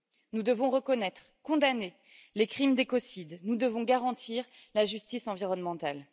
Nous devons reconnaître, condamner les crimes d'écocides, nous devons garantir la justice environnementale.